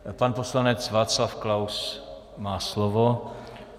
Pan poslanec Václav Klaus má slovo.